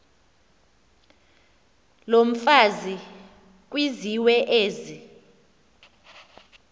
yomfazi kwizizwe ezi